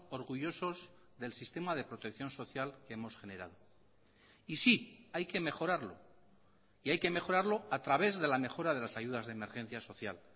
orgullosos del sistema de protección social que hemos generado y sí hay que mejorarlo y hay que mejorarlo a través de la mejora de las ayudas de emergencia social